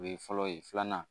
O ye fɔlɔ ye filanan